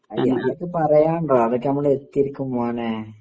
അതൊക്കെ പറയാനുണ്ടോ അതൊക്കെ നമ്മൾ എത്തീരിക്കും മോനെ